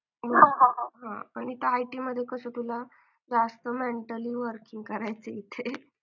आणि मला जरा सांग ना तुझा struggle कसा कसा झाला तो पोलीस भरतीसाठी